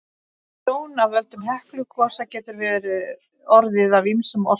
Tjón af völdum Heklugosa getur orðið af ýmsum orsökum.